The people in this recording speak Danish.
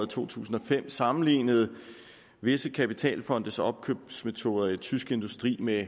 to tusind og fem sammenlignede visse kapitalfondes opkøbsmetoder i tysk industri med